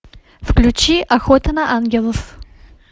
включи охота на ангелов